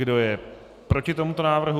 Kdo je proti tomuto návrhu?